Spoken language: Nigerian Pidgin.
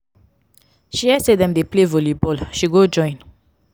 she hear sey dem dey play volleyball she go join.